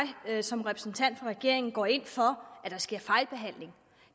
at jeg som repræsentant for regeringen går ind for at der sker fejlbehandling